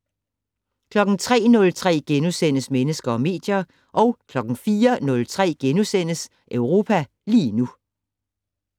03:03: Mennesker og medier * 04:03: Europa lige nu *